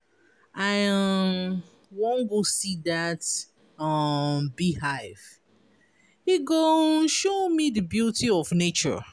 I um wan go see dat um bee hive e go um show me di beauty of nature.